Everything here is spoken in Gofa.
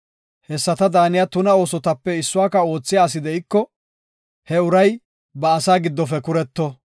Hessata daaniya tuna oosotape issuwaka oothiya asi de7iko, he uray ba asaa giddofe kuretto.